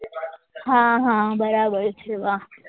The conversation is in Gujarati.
હા હા બરાબર છે વાહ